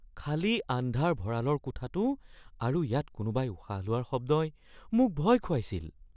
খালী আন্ধাৰ ভঁৰালৰ কোঠাটো আৰু ইয়াত কোনোবাই উশাহ লোৱাৰ শব্দই মোক ভয় খুৱাইছিল।